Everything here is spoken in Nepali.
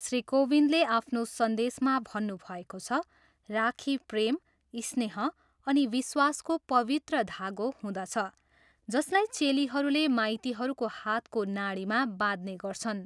श्री कोविदले आफ्नो सन्देशमा भन्नुभएको छ, राखी प्रेम, स्नेह अनि विश्वासको पवित्र धागो हुँदछ जसलाई चेलीहरूले माइतीहरूको हातको नाडीमा बाँध्ने गर्छन्।